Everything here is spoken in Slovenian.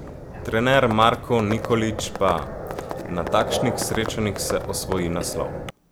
Trener Marko Nikolić pa: "Na takšnih srečanjih se osvoji naslov.